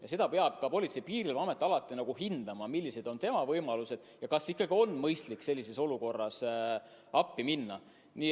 Ja seda peab Politsei- ja Piirivalveamet alati hindama, millised on tema võimalused ja kas ikka on mõistlik konkreetses olukorras appi minna.